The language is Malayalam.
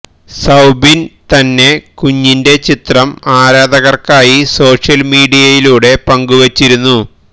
സൌബിന് തന്നെ കുഞ്ഞിന്റെ ചിത്രം ആരാധകര്ക്കായി സോഷ്യല് മീഡിയയിലൂടെ പങ്കുവെച്ചിരുന്നു